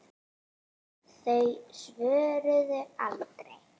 Þau svöruðu aldrei.